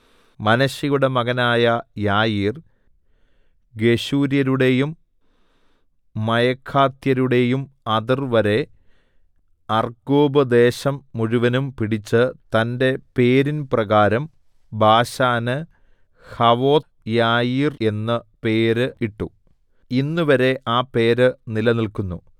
മനശ്ശെയുടെ മകനായ യായീർ ഗെശൂര്യരുടെയും മയഖാത്യരുടെയും അതിർവരെ അർഗ്ഗോബ്ദേശം മുഴുവനും പിടിച്ച് തന്റെ പേരിൻ പ്രകാരം ബാശാന് ഹവോത്ത് യായീർ എന്ന് പേര് ഇട്ടു ഇന്നുവരെ ആ പേര് നിലനിൽക്കുന്നു